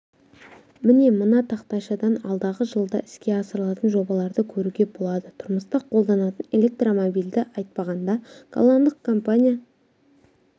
міне мына тақтайшадан алдағы жылда іске асырылатын жобаларды көруге болады тұрмыста қолданатын электромобильді айтпағанда голландық компания